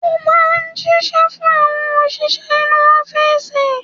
Ó máa ń jíṣẹ́ fún àwọn òṣìṣẹ́ inú ọ́fìsì.